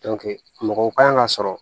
mɔgɔw kan ka sɔrɔ